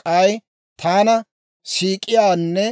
K'ay taana siik'iyaanne